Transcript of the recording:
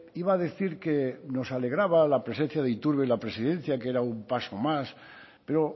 iba a decir que nos alegraba la presencia de iturbe en la presidencia que era un paso más pero